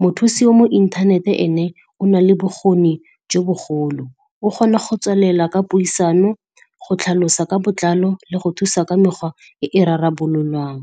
Mothusi o mo internet-e ene, o nale bokgoni jo bogolo, O kgona go tswelela ka puisano, go tlhalosa ka botlalo le go thusa ka mekgwa e e rarabololwang.